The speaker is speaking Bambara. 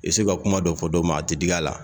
I se ka kuma dɔ fɔ dɔ ma a tɛ digi a la